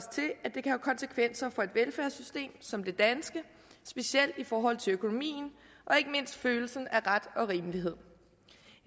konsekvenser for et velfærdssystem som det danske specielt i forhold til økonomien og ikke mindst følelsen af ret og rimelighed